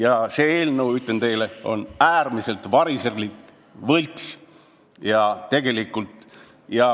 Aga see eelnõu, ütlen teile, on äärmiselt variserlik ja võlts.